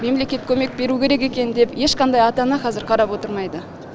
мемлекет көмек беруі керек екен деп ешқандай ата ана қазір қарап отырмайды